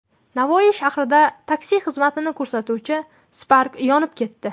Navoiy shahrida taksi xizmatini ko‘rsatuvchi Spark yonib ketdi.